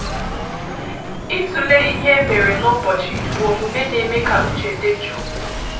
Ịtụle ihe e mere n’ụbọchị bụ omume na-eme ka uche dị jụụ.